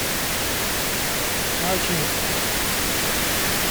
ачинск